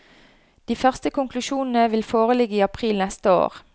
De første konklusjonene vil foreligge i april neste år.